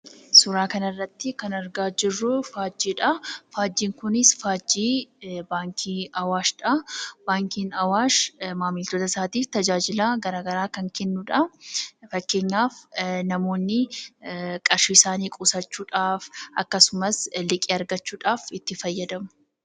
Suuraa kana irratti kan argaa jirru suuraa faajjiidha. Faajjiin kunis faajjii baankii Awaashidha. Baankiin Awaash maamiltoota isaatiif tajaajiloota gara garaa kan kennudha. Fakkeenyaaf namoonni qarshii isaanii qusachuudhaaf akkasumas liqii argachuudhaaf itti fayyadamu.